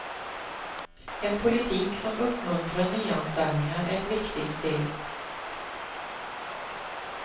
En politik som uppmuntrar nyanställningar är ett viktigt steg.